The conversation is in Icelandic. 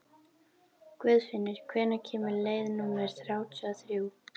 Guðfinnur, hvenær kemur leið númer þrjátíu og þrjú?